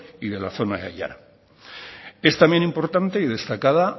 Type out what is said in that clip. y de la zona es también importante y destacada